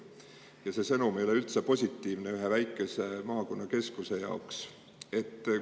Ja see sõnum ei ole üldse positiivne ühe väikese maakonnakeskuse jaoks.